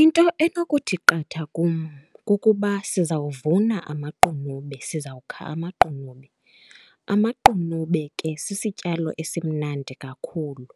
Into enokuthi qatha kum kukuba sizawuvuna amaqunube, sizawukha amaqunube. Amaqunube ke sisityalo esimnandi kakhulu.